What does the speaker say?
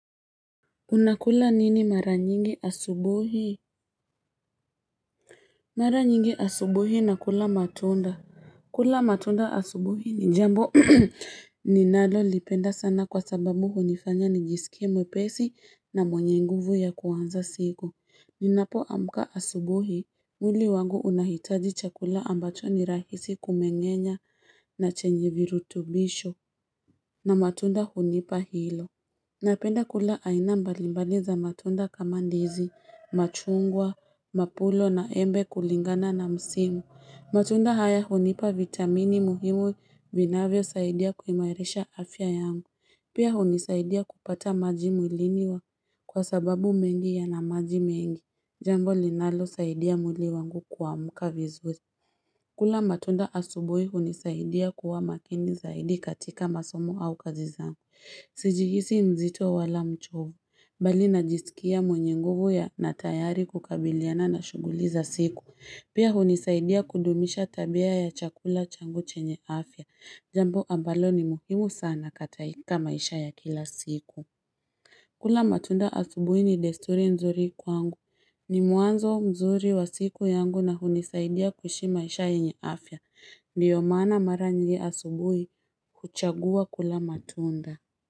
Unakula nini mara nyingi asubuhi? Mara nyingi asubuhi na kula matunda. Kula matunda asubuhi ni jambo. Ninalo lipenda sana kwa sababu hunifanya nijisikie mwepesi na mwenye nguvu ya kuwanza siku. Ninapo amka asubuhi. Mwili wangu unahitaji chakula ambacho ni rahisi kumengenya na chenye virutubisho na matunda hunipa hilo. Napenda kula aina mbalimbali za matunda kama ndizi, machungwa, mapulo na embe kulingana na msimu. Matunda haya hunipa vitamini muhimu vinavyo saidia kuimarisha afya yangu. Pia hunisaidia kupata maji mwilini kwa sababu mengi yana maji mengi, jambo linalo saidia mwili wangu kuamka vizuri kula matunda asubuhi hunisaidia kuwa makini zaidi katika masomo au kazi zangu Sijihisi mzito wala mchovu, mbali najisikia mwenye nguvu na tayari kukabiliana na shughuli za siku. Pia hunisaidia kudumisha tabia ya chakula changu chenye afya. Jambo ambalo ni muhimu sana kataika maisha ya kila siku. Kula matunda asubuhi ni desturi nzuri kwangu. Ni muanzo mzuri wa siku yangu na hunisaidia kushi maisha yenye afya. Ndio maana mara nje asubuhi kuchagua kula matunda.